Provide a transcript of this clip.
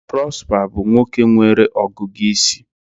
Prosper bụ nwoke nwere ọgụgụ isi